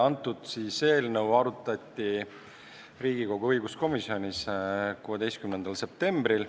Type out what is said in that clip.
Antud eelnõu arutati Riigikogu õiguskomisjonis 16. septembril.